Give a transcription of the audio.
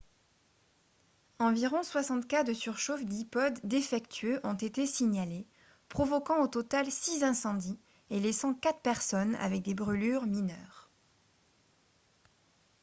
environ 60 cas de surchauffe d'ipods défectueux ont été signalés provoquant au total six incendies et laissant quatre personnes avec des brûlures mineures